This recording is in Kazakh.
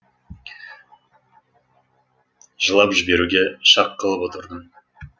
жылап жіберуге шақ қалып отырдым